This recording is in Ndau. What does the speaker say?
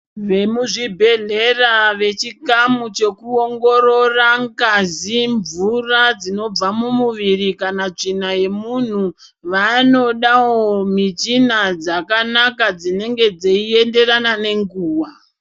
Vemuzvibhedhleya vechikamu chekuongorora ngazi, mvura dzinobva mumuviri kana tsvina yemuntu vanodawo michina dzakanaka dzinenge dzeienderana nenguwa.